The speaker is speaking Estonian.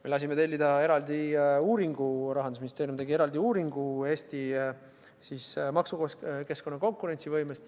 Me lasime tellida eraldi uuringu, Rahandusministeerium tegi eraldi uuringu Eesti maksukeskkonna konkurentsivõime kohta.